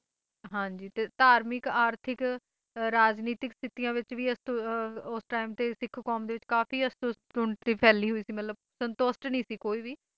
ਹਾਂ ਜੀ ਤੇ ਧਾਰਮਿਕ ਆਰਥਿਕ ਰਾਜਨੀਤਿਕ ਸਥਿਤੀਆਂ ਵਿੱਚ ਵੀ ਇਸ Time ਵਤੇ ਸਿੱਖ ਕੌਮ ਤੇ ਕਾਫੀ ਅਸੰਤੁਸ਼ਟੀ ਫੈਲੀ ਹੋਈ ਸੀ ਮਤਲਬ ਸੰਤੁਸ਼ਟ ਨਹੀਂ ਸੀ ਕੋਈ ਵੀ ਬਹੁਤ